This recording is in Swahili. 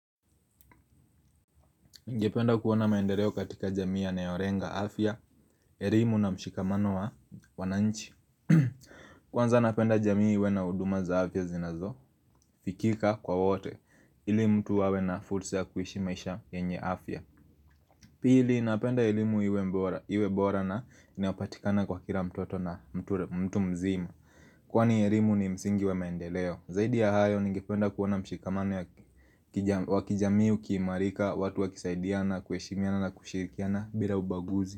Ningependa kuona maendeleo katika jamii yanayolenga afya, elimu na mshikamano wa wananchi Kwanza napenda jamii ya na huduma za afya zinazo, fikika kwa wote, ili mtu awe na fursa ya kuishi maisha yenye afya Pili, napenda elimu iwe bora na inapatikana kwa kila mtoto na mtu mzima Kwani elimu ni msingi wa maendeleo Zaidi ya hayo nigependa kuona mshikamano ya wakijamii, ukiimarika, watu wakisaidiana, kueshimiana na kushirikiana bila ubaguzi.